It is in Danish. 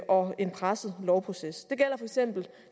og en presset lovproces